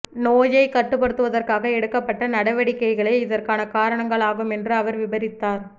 நோயை கட்டுப்படுத்துவதற்காக எடுக்கப்பட்ட நடவடிக்கைகளே இதற்கான காரணங்களாகும் என்றும் அவர் விபரித்தார்